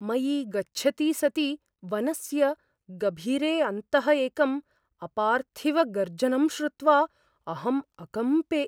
मयि गच्छति सति वनस्य गभीरे अन्तः एकम् अपार्थिवगर्जनं श्रुत्वा अहम् अकम्पे।